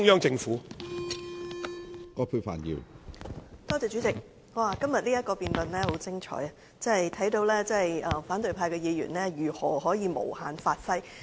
主席，今天這項議案辯論的確很精彩，可見反對派議員如何可以借題無限發揮。